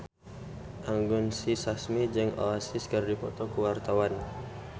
Anggun C. Sasmi jeung Oasis keur dipoto ku wartawan